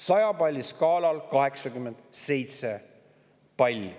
100 palli skaalal 87 palli.